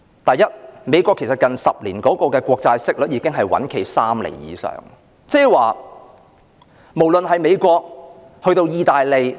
第一，美國近10年的國債息率已穩站在3厘以上，無論是美國以至意大利......